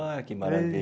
Ai, que maravilha!